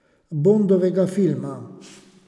Bondovega filma.